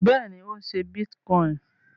Bẹ́ẹ̀ni, ó ń ṣé bítíkọìnì